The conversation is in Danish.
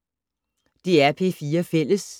DR P4 Fælles